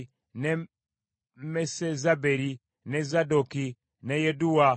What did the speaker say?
ne Mesezaberi, ne Zadooki, ne Yadduwa,